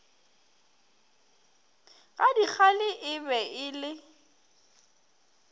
gadikgale e be e le